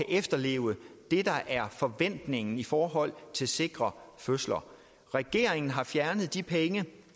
efterleve det der er forventningen i forhold til sikre fødsler regeringen har fjernet de penge